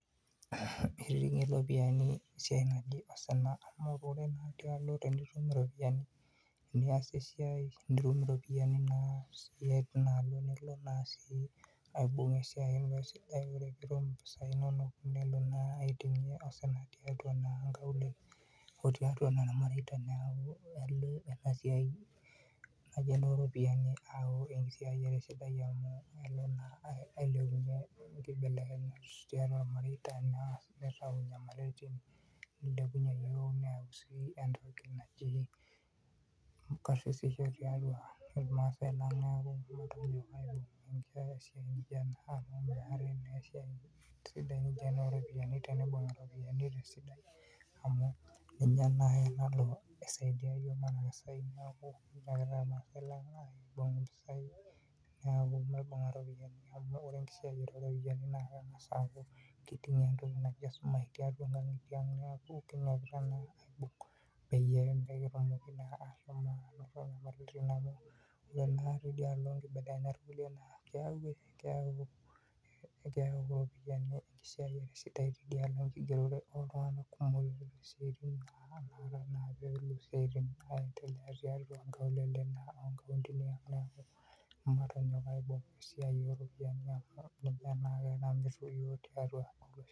Eitingie iropiyiani esiai naji osina amu kore ake tialo pee itum iropiyiani, niasie esiai nitum iropiyiani nilo naa sii aibung' esiai ino esidai koree ake pii itum impisai inono nelo naa aiting osina tiatua inkaulele otiatua naa irmareita neaku elo ena siai oo ropiyiani ayau enkisiayiare sidai amu elo naa ailepunye inkibelekenyat too irmareita nitau inyamaliritin, neilepunye yiook neyau sii entoki naji karsisisho tiatua Irma'sai lang' neaku kitum aaibung'ata amu meetai sii esiai naijo ena oo ropiyiani teniimbung' te sidai amu ninche naake nalo aisaidia yiook neaku Irma'sai lang' maibunga iropiyiani amu kore enkisiayiare oo ropiyiani naa kengas' aaku keitingie entoki naji esumash tiatua nkangitie aang neaku matonyok aaibung pee mikitum naake nyamaliritin tialo nkibelekenyat kulie naa keyau enkisiayiare enkigeroto oo iltung'ana pee etum isiaitin aendelea tiatua inkaulele neaku matonyok aaibung' esiai oo ropiyiani amuu ninye naake naretu yiook tiatua olosho.